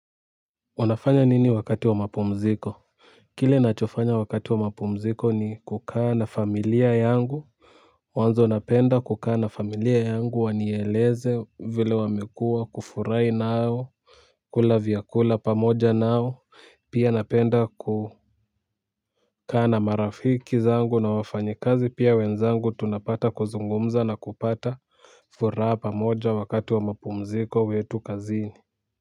Unafanya nini wakati wa mapumziko kile nachofanya wakati wa mapumziko ni kukaa na familia yangu. Mwanzo napenda kukaa na familia yangu wanieleze vile wamekua, kufurahi nao. Kula vyakula pamoja nao. Pia napenda kukaa na marafiki zangu na wafanyikazi pia wenzangu tunapata kuzungumza na kupata furaha pamoja wakati wa mapumziko wetu kazini.